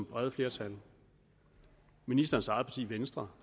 brede flertal ministerens eget parti venstre